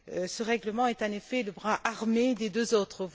Ce règlement est, en effet, le bras armé des deux autres.